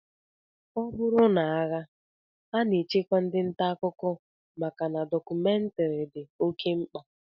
Ọ bụrụ n'agha, a na-echekwa ndị ntaakụkọ maka na dọkụmentrị dị oké mkpa